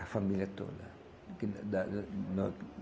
A família toda.